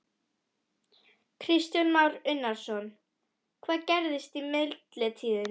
Kristján Már Unnarsson: Hvað gerðist í millitíðinni?